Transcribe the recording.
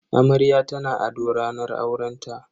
Amarya tana ado ranar aurenta.